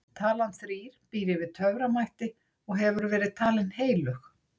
Talan þrír býr yfir töframætti og hefur verið talin heilög.